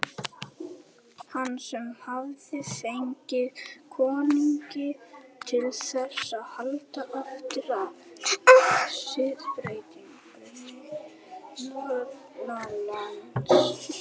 Hann sem hafði fengið konunginn til þess að halda aftur af siðbreytingunni norðanlands.